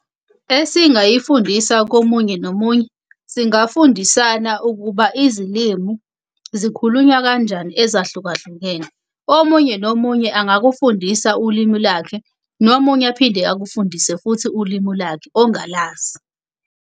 Esingayifundisa komunye nomunye, singafundisana ukuba izilimu zikhulunywa kanjani ezahlukahlukene. Omunye nomunye angakufundisa ulimu lakhe, nomunye aphinde akufundise futhi ulimu lakhe ongalazi.